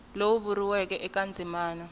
lowu vuriweke eka ndzimana a